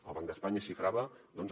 el banc d’espanya la xifrava doncs